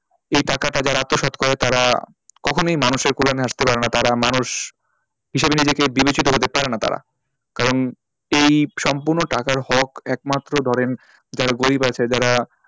এই টাকাটা যারা আত্মসাৎ করে তারা কখনোই মানুষের কল্যানে আসতে পারে না তারা মানুষ হিসাবে নিজেকে বিবেচিত হতে পারে না তারা কারণ এই সম্পূর্ণ টাকার হক একমাত্র ধরেন যারা গরিব আছে যারা,